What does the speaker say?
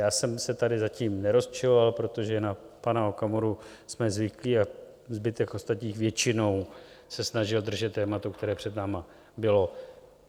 Já jsem se tady zatím nerozčiloval, protože na pana Okamuru jsme zvyklí a zbytek ostatních většinou se snažil držet tématu, které před námi bylo.